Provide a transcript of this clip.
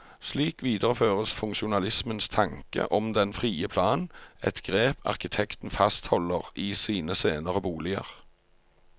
Slik videreføres funksjonalismens tanke om den frie plan, et grep arkitekten fastholder i sine senere boliger.